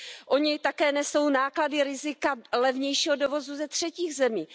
Oni také nesou náklady a rizika levnějšího dovozu ze třetích zemí.